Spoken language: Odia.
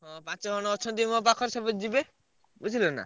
ହଁ ପାଞ୍ଚଜଣ ଅଛନ୍ତି ମୋ ପାଖରେ ସବୁ ଯିବେ। ବୁଝିଲନା?